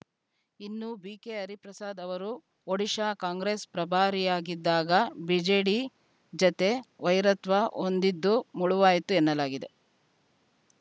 ಇನ್ನು ಬಿಕೆ ಹರಿಪ್ರಸಾದ್‌ ಅವರು ಒಡಿಶಾ ಕಾಂಗ್ರೆಸ್‌ ಪ್ರಭಾರಿಯಾಗಿದ್ದಾಗ ಬಿಜೆಡಿ ಜತೆ ವೈರತ್ವ ಹೊಂದಿದ್ದೂ ಮುಳುವಾಯಿತು ಎನ್ನಲಾಗಿದೆ